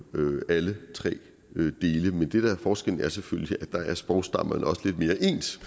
jo alle tre dele men det der er forskellen er selvfølgelig at der er sprogstammerne også lidt mere ens